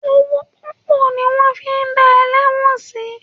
Owó púpọ̀ ni wọ́n fi dá ẹlẹ́wọ̀n sí.